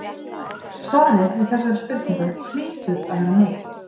Svarið við þessari spurningu hlýtur að vera nei.